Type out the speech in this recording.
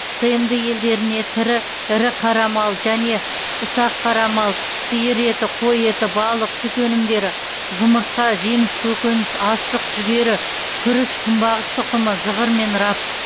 тмд елдеріне тірі ірі қара мал және ұсақ қара мал сиыр еті қой еті балық сүт өнімдері жұмыртқа жеміс көкөніс астық жүгері күріш күнбағыс тұқымы зығыр мен рапс